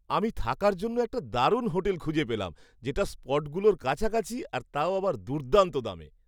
আমি থাকার জন্য একটা দারুণ হোটেল খুঁজে পেলাম যেটা স্পটগুলোর কাছাকাছি আর তাও আবার দুর্দান্ত দামে!